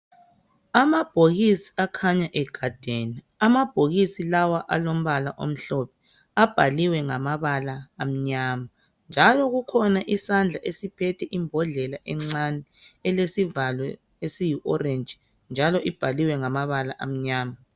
Amabhokisi akhanya egadene amabhokisi lawa alombala omhlophe abhaliwe ngamabala amnyama njalo kukhona isandla esiphethe imbodlela encane elesivalo esiyi orange njalo imbaliwe ngamabala amnyama.